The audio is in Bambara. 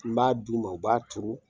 N b'a d'u ma u b'a turu.